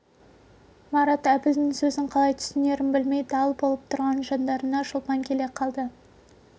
марат әбілдің сөзін қалай түсінерін білмей дал болып тұрған жандарына шолпан келе қалды